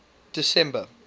december